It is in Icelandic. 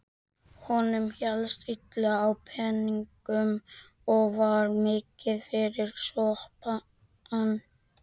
Honum hélst illa á peningum og var mikið fyrir sopann.